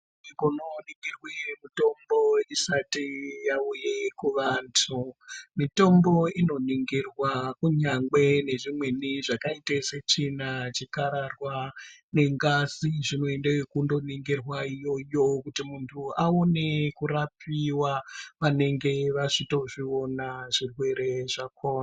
Ukaona wabikirwa mitombo isati yauya kuvanhu mitombo inoningirwa kunyazi zvakaita setsvina chikararwa nengazi zvinoenda yekungoningurwa iyoyo kuti muntu aone kurapiwa vanenge vachindozviona zvirwere zvakona.